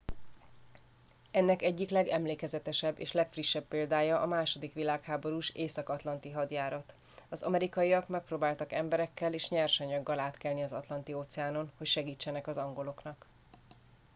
ennek egyik legemlékezetesebb és legfrissebb példája a második világháborús észak atlanti hadjárat az amerikaiak megpróbáltak emberekkel és nyersanyaggal átkelni az atlanti óceánon hogy segítsenek az angoloknak